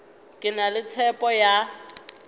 ke na le tshepo ya